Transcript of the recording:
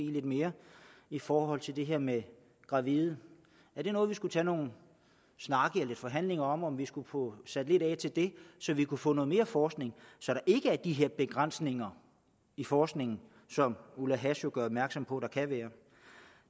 lidt mere i forhold til det her med gravide er det noget vi skulle tage nogle snakke eller lidt forhandlinger om altså om vi skulle få sat lidt af til det så vi kunne få noget mere forskning så der ikke er de her begrænsninger i forskningen som ulla hass jo gør opmærksom på der kan være